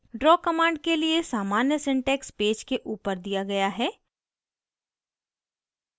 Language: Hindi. draw command के लिए सामान्य syntax पेज के ऊपर दिया गया है